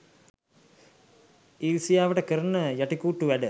ඉරිසියාවට කරන යටිකුට්ටු වැඩ